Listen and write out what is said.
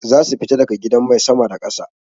Zasu fita daga gidan mai sama da ƙasa.